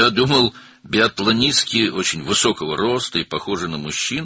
Mən elə bilirdim, biatlonçular çox hündür boylu və kişilərə bənzəyirlər,